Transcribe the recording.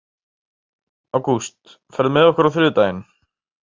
Ágúst, ferð þú með okkur á þriðjudaginn?